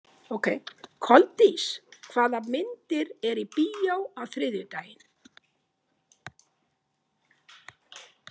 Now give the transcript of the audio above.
Koldís, hvaða myndir eru í bíó á þriðjudaginn?